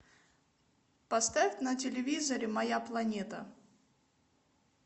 поставь на телевизоре моя планета